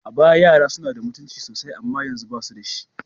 A baya, yara suna da mutunci sosai amma yanzu, ba su da shi.